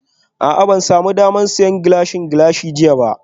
A'a ban sami damar siyan Gilashin Gilashin jiya ba